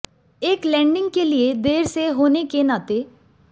एक लैंडिंग के लिए देर से होने के नाते